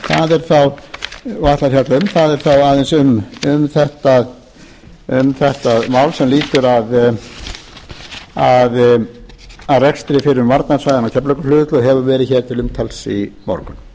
og ætla að fjalla um það er þá aðeins um þetta mál sem lýtur að rekstri fyrrum varnarsvæðanna á keflavíkurflugvelli og hefur verið hér til umtals í morgun